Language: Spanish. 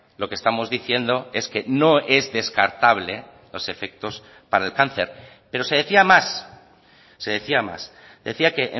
lo que estamos diciendo es que no es descartable los efectos para el cáncer pero se decía más se decía más decía que